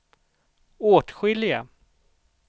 åtskilliga